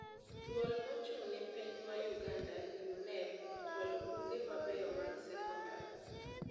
Duol mochung'ne penj ma Uganda (UNEB) ochwalo buge mabeyo mag sekondar.